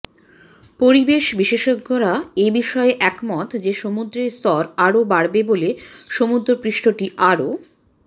পরিবেশ বিশেষজ্ঞরা এ বিষয়ে একমত যে সমুদ্রের স্তর আরও বাড়বে বলে সমুদ্রপৃষ্ঠটি আরও